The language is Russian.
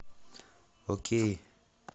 окей